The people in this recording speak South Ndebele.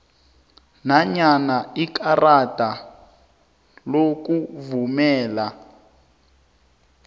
nanyana ikarada lokuvumela